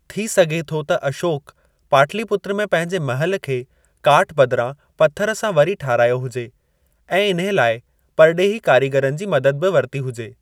थी सघे थो त अशोक पाटलिपुत्र में पंहिंजे महल खे काठ बदिरां पत्थर सां वरी ठारायो हुजे, ऐं इन्हे लाइ परॾेही कारीगरनि जी मदद बि वरती हुजे।